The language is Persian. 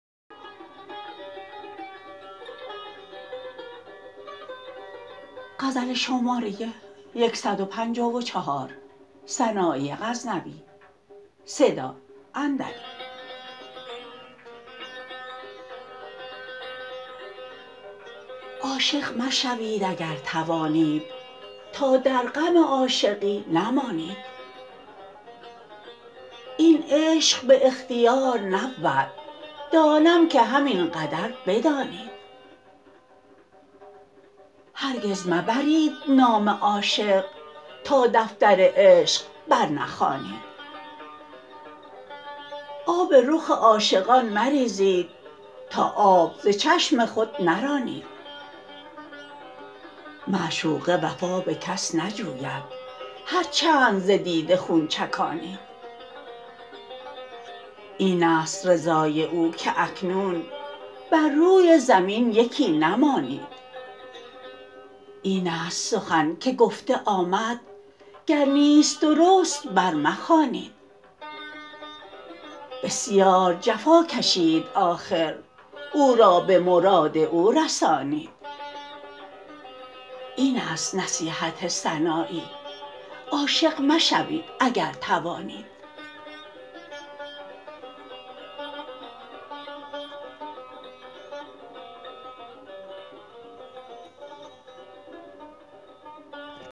عاشق مشوید اگر توانید تا در غم عاشقی نمانید این عشق به اختیار نبود دانم که همین قدر بدانید هرگز مبرید نام عاشق تا دفتر عشق بر نخوانید آب رخ عاشقان مریزید تا آب ز چشم خود نرانید معشوقه وفا به کس نجوید هر چند ز دیده خون چکانید این است رضای او که اکنون بر روی زمین یکی نمانید این است سخن که گفته آمد گر نیست درست بر مخوانید بسیار جفا کشید آخر او را به مراد او رسانید این است نصیحت سنایی عاشق مشوید اگر توانید